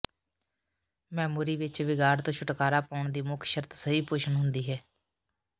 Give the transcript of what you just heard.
memory ਵਿੱਚ ਵਿਗਾੜ ਤੋਂ ਛੁਟਕਾਰਾ ਪਾਉਣ ਦੀ ਮੁੱਖ ਸ਼ਰਤ ਸਹੀ ਪੋਸ਼ਣ ਹੁੰਦੀ ਹੈ